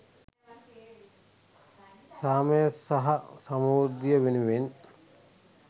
සාමය සහ සමෘද්ධිය වෙනුවෙන්